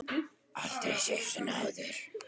Aldrei séð svona áður.